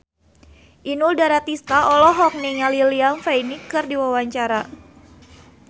Inul Daratista olohok ningali Liam Payne keur diwawancara